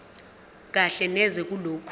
kahle neze kulokho